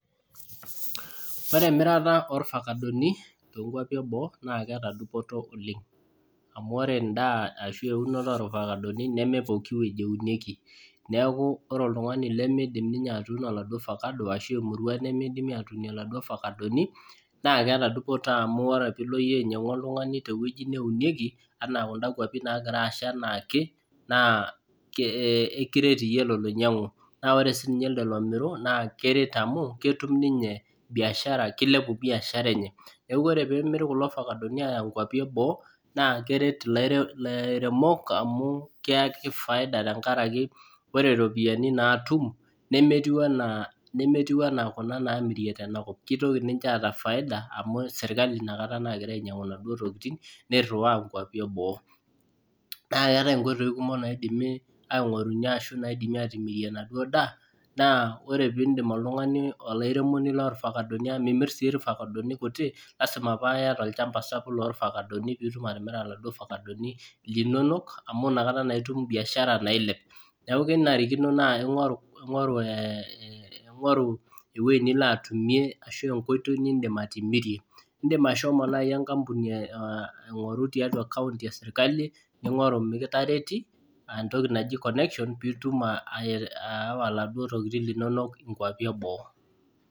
Ore emirata ilfakadoni tee nkuapi eboo, naa keeta faida oleng, amu ore edaa ashu eunoto, olfakadonj neme pooki wueji neunieki, neeku ore oltungani lemeidim ninye atuunon oladuoo fakado. naa keeta dupoto amu ore pee ilo iyie ainyiangu oltungani, te wueji neunieki anaa kuda kuapi naagira assha anaake naa ekiret, iyie ele loinyuangu. naa ore iyie ele lomiru, naa keret amu ketum ninye biashara kilepu biashara enye. neeku ore peemiri kulo fakadoni aaya nkuapi eboo, naa keret ilaremok amu keyaki faida tenkaraki ore ropiyiani naatum. nemetiu anaa Kuna namirie tena kop, kitoki ninche atumie faida. amu sirkali I a kata, naagira ainyiangu inaduo tokitin. naa keetae inkoitoi kumok naatumoki atimirie enaduoo daa. naa ore pee idim oltungani. olairemoni lorfakadoni. amu Mimir sii ilfakadoni, kuti. lasima paa iyata olchampa sapuk loorfakadonj. pee itum atimira oladuoo fakadoni. linonok. amu Ina kata naa itum biashara nailep. neeku kenarikino ningoru ewueji nilo atumie, ashu enkoitoi nidim atimirie, idim ashomo enkampuni, aing'oru tiatua kaunti esirkali ningoru mikitareti